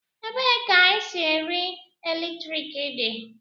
Ebee ka esi nri eletrik dị?